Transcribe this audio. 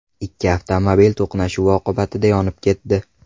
Ikki avtomobil to‘qnashuv oqibatida yonib ketdi.